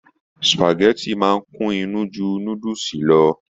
Supágẹ̀tì máa n kún inú jù núdúsí lọ.